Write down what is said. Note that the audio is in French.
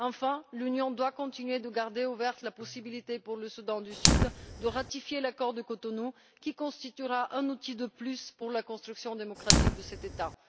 Enfin, l'Union doit continuer de garder ouverte la possibilité pour le Soudan du Sud de ratifier l'accord de Cotonou, qui constituera un outil de plus pour la construction démocratique de cet État.